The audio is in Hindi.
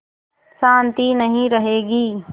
शान्ति नहीं रहेगी